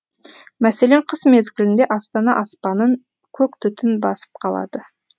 мәселен қыс мезгілінде астана аспанын көк түтін басып қалады